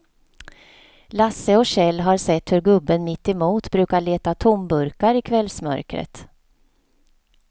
Lasse och Kjell har sett hur gubben mittemot brukar leta tomburkar i kvällsmörkret.